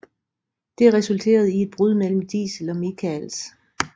Det resulterede i et brud mellem Diesel og Michaels